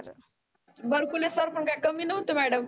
Barkule sir पण काय कमी नव्हते madam